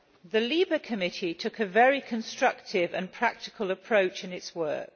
The LIBE Committee took a very constructive and practical approach in its work.